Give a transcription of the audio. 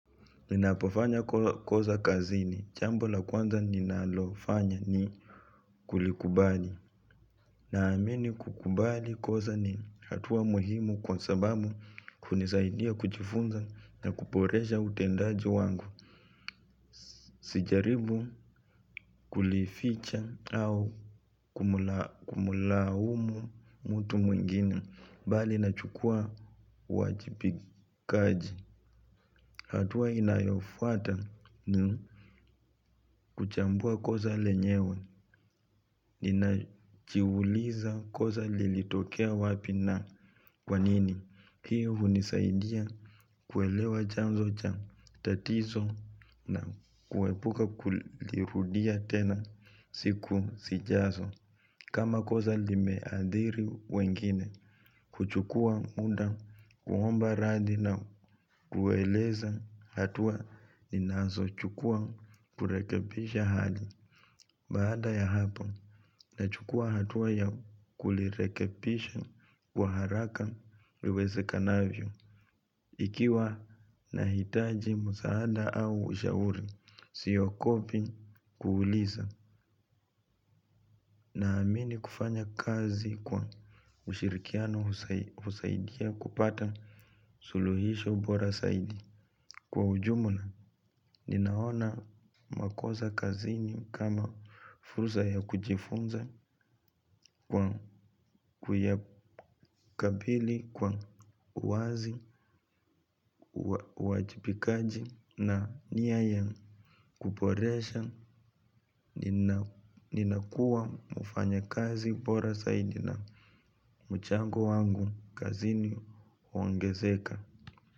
Ninapofanya koza kazini, chambo la kwanza ninalofanya ni kulikubali. Naamini kukubali koza ni hatuwa muhimu kwa sababu kunisaidia kuchifunza na kuporesha utendaji wangu. Sijaribu kulificha au kumula umu mtu mwengine, bali nachukua uwajibikaji. Hatuwa inayofuata ni kuchambua koza lenyewe, nina chiuliza koza lilitokea wapi na kwanini. Hiyo unisaidia kuelewa janzo cha tatizo na kuwebuka kulirudia tena siku si jazo. Kama koza limeadhiri wengine, kuchukua muda, kuhomba radi na kueleza hatua ninazo chukua kurekebisha hali. Baada ya hapa, nachukua hatua ya kulirekepisha kwa haraka liwezi kanavyo. Ikiwa nahitaji msaada au ushauri, siyokopi kuuliza na amini kufanya kazi kwa ushirikiano husaidia kupata suluhisho bora saidi. Kwa ujumla, ninaona makoza kazini kama furusa ya kujifunza kwa kuyakabili kwa uazi, uajipikaji na niya ya kuporesha. Ninakuwa mfanya kazi bora zaidi na mchango wangu kazini huongezeka.